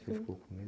Você ficou com medo?